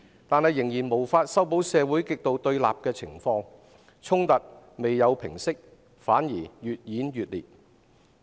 但即使如此，仍無法修補社會極度對立的情況，衝突沒有平息，反而越演越烈。